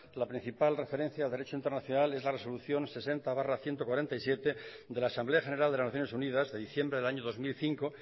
la principal referencia de derecho internacional es la resolución sesenta barra ciento cuarenta y siete de la asamblea general de las naciones unidas de diciembre del año dos mil cinco